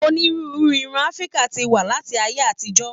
Onírúurú irun Áfíríkà ti wa láti ayé àtijọ.